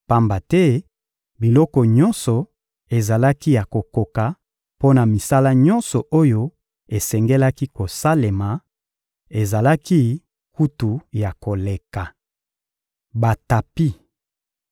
pamba te biloko nyonso ezalaki ya kokoka mpo na misala nyonso oyo esengelaki kosalema: ezalaki kutu ya koleka. Batapi